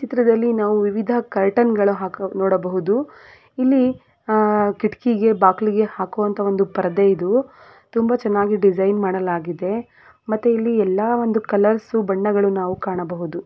ಚಿತ್ರದಲ್ಲಿ ನಾವು ವಿವಿಧ ಕರ್ಟನ್ ಗಳನ್ನೂ ಹಾಗು ನೋಡಬಹುದು ಇಲ್ಲಿ ಅಹ್ ಕಿಟಕಿಗೆ ಬಾಗಿಲಿಗೆ ಹಾಕುವಂತ ಪರದೆ ಇದು ತುಂಬಾ ಚೆನ್ನಾಗಿ ಡಿಸೈನ್ ಮಾಡಲಾಗಿದೆ ಮತ್ತೆ ಇಲ್ಲಿ ಎಲ್ಲ ಒಂದು ಕಲರ್ಸ್ ಬಣ್ಣಗಳು ನಾವು ಕಾಣಬಹುದು.